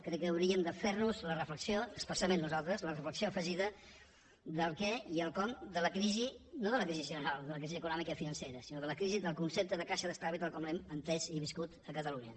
crec que hauríem de fer nos especialment nosaltres la reflexió afegida del què i el com de la crisi no de la crisi general de la crisi econòmica i financera sinó de la crisi del concepte de caixa d’estalvis tal com l’hem entès i viscut a catalunya